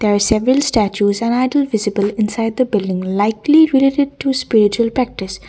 several statues an ideal visible inside the building likely related to spiritual practice.